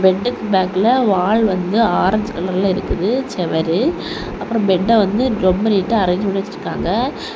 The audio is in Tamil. பெட்டுக்கு பேக்ல வால் வந்து ஆரஞ்சு கலர்ல இருக்குது செவறு அப்புறம் பெட்ட வந்து ரொம்ப நீட்டா அரேஞ்ச் பண்ணி வச்சிருக்காங்க.